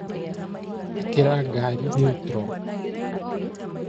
Ĩkĩra ngari niutro.